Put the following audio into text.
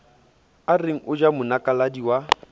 areng o ja monakaladi wa